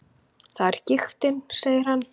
Það er giktin, segir hann.